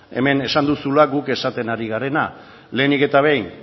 hemen esan duzula guk esaten ari garena lehenik eta behin